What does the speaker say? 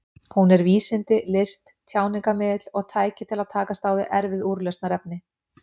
Hún er vísindi, list, tjáningarmiðill og tæki til að takast á við erfið úrlausnarefni.